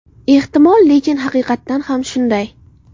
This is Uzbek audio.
Ehtimol, lekin haqiqatan ham shunday.